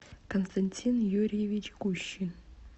константин юрьевич гущин